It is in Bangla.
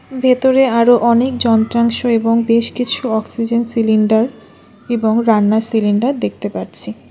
ভেতরে আরো অনেক যন্ত্রাংশ এবং বেশ কিছু অক্সিজেন সিলিন্ডার এবং রান্নার সিলিন্ডার দেখতে পাচ্ছি।